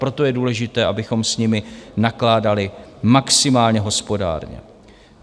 Proto je důležité, abychom s nimi nakládali maximálně hospodárně.